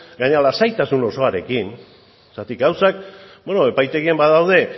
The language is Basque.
gainera lasaitasun osoarekin zergatik gauzak epaitegian badaude